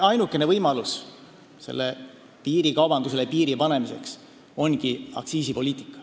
Ainukene võimalus piirikaubandusele piir panna ongi aktsiisipoliitika.